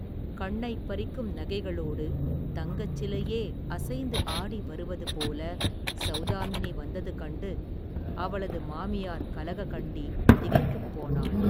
கண்ணைப் பறிக்கும் நகைகளோடு தங்கச் சிலையே அசைந்து ஆடி வருவது போல சௌதாமினி வந்தது கண்டு அவளது மாமியார் கலககண்டி திகைத்துப் போனாள்.